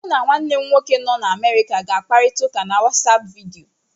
Mụ na nwanne m nwoke nọ n'Amerịka ga-akparita ụka na WatsAapụ vidiyo.